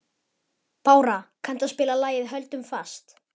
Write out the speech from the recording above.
Bára, kanntu að spila lagið „Höldum fast“?